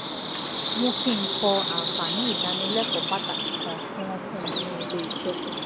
mú kí n kọ àǹfààní ìdánilẹ́kọ̀ọ́ pàtàkì kan tí wọ́n fún mi ní ilé iṣẹ́